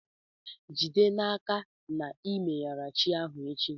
Jide n'aka na i meyara chi ahụ echi.